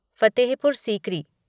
Fatehpur Sikri